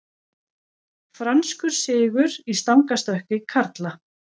Franskur sigur í stangarstökki karla